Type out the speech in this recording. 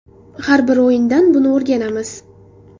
Har bir o‘yindan buni o‘rganamiz.